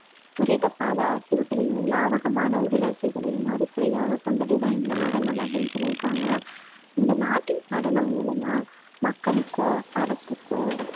துரித பாத அசைவுகளையும், லாவகமான உடலசைவுகளையும் அடிப்படையாகக் கொண்டதுதான் இந்த நடனம் அப்படின்னு சொல்யிருக்காங்க இந்த நாட்டிய நடனம் மூலமா மக்களுக்கோ, அரசுக்கோ